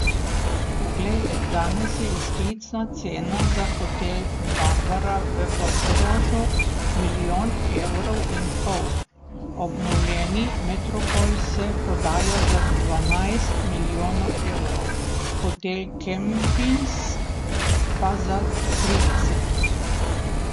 Poglejte, danes je izklicna cena za hotel Barbara v Portorožu milijon evrov in pol, obnovljeni Metropol se prodaja za dvanajst milijonov evrov, hotel Kempinski pa za trideset.